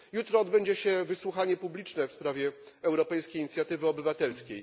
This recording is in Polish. Jutro odbędzie się wysłuchanie publiczne w sprawie europejskiej inicjatywy obywatelskiej.